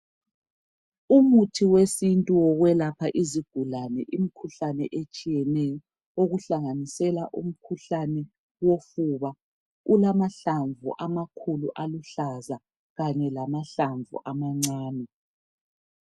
Umuthi wesintu wokwelapha izigulane imikhuhlane etshiyeneyo okuhlanganisela umkhuhlane wofuba ulamahlamvu amakhulu aluhlaza kanye lamahlamvu amancane